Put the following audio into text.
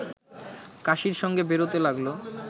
কাশির সঙ্গে বেরোতে লাগল